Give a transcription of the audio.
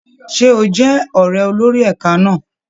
Ṣé o jẹ́ ọ̀ré olórí ẹ̀ka náà?